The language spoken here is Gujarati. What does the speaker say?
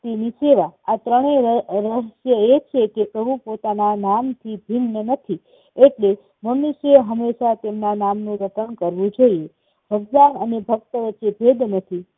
ની સેવા. આ ત્રણેય રહસ્યો એ છે કે પ્રભુ પોતાના નામ થી ભીન્ન નથી એટલે મનુશ્ય હંમેશા તેમના નામનું રટણ કરવું જોઈએ. ભગવાન અને ભક્ત વચ્ચે ભેદ નથી.